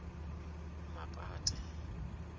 mapate